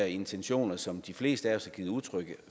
intentioner som de fleste af os har givet udtryk